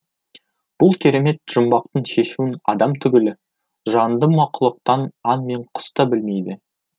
бұл керемет жұмбақтың шешуін адам түгілі жанды мақұлықтан аң мен құс та білмейді